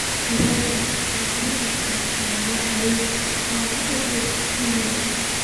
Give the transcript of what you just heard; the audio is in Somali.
ka raadi nasra dadka aan la xiriiro oo u dir iimayl